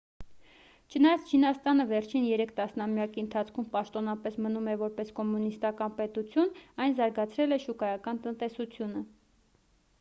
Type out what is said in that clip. չնայած չինաստանը վերջին երեք տասնամյակի ընթացքում պաշտոնապես մնում է որպես կոմունիստական պետություն այն զարգացրել է շուկայական տնտեսությունը